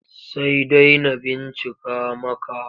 Sai dai na bincika maka.